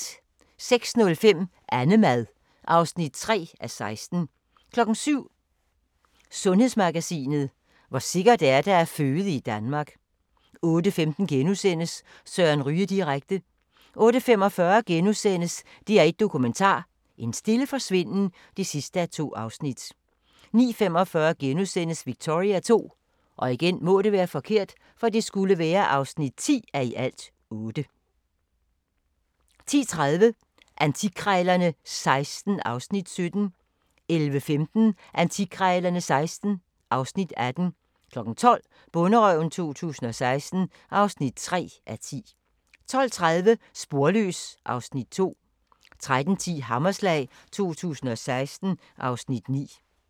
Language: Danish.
06:05: Annemad (3:16) 07:00: Sundhedsmagasinet: Hvor sikkert er det at føde i Danmark? 08:15: Søren Ryge direkte * 08:45: DR1 Dokumentar: En stille forsvinden (2:2)* 09:45: Victoria II (10:8)* 10:30: Antikkrejlerne XVI (Afs. 17) 11:15: Antikkrejlerne XVI (Afs. 18) 12:00: Bonderøven 2016 (3:10) 12:30: Sporløs (Afs. 2) 13:10: Hammerslag 2016 (Afs. 9)